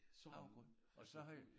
Havregryn og så havde vi